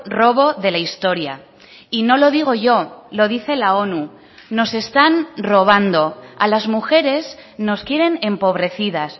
robo de la historia y no lo digo yo lo dice la onu nos están robando a las mujeres nos quieren empobrecidas